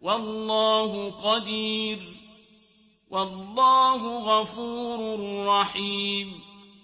وَاللَّهُ قَدِيرٌ ۚ وَاللَّهُ غَفُورٌ رَّحِيمٌ